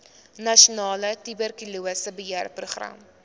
nasionale tuberkulose beheerprogram